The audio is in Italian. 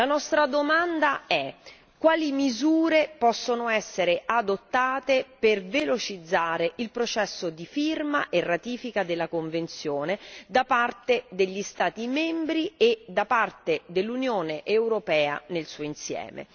La nostra domanda è quali misure possono essere adottate per velocizzare il processo di firma e ratifica della convenzione da parte degli Stati membri e da parte dell'Unione europea nel suo insieme?